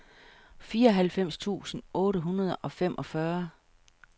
fireoghalvfems tusind otte hundrede og femogfyrre